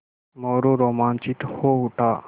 मोरू रोमांचित हो उठा